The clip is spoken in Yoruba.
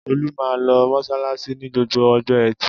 Olú máa ń lọ mọ́ṣáláṣí ní gbogbo ọjọ́ ẹtì.